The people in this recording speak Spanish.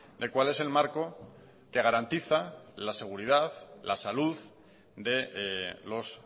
de cuál es el marco que garantiza la seguridad la salud de los